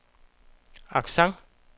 accent